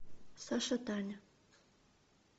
саша таня